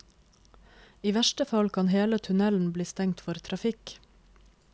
I verste fall kan hele tunnelen bli stengt for trafikk.